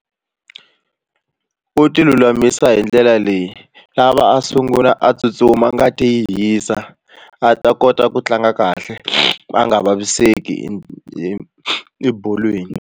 U ti lulamisela hi ndlela leyi lava a sungula a tsutsuma ngati yi hisa a ta kota ku tlanga kahle a nga vaviseki ebolweni.